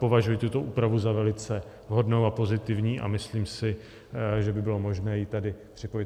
Považuji tuto úpravu za velice vhodnou a pozitivní a myslím si, že by bylo možné ji tady připojit.